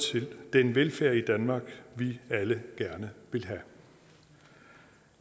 til den velfærd i danmark vi alle gerne vil have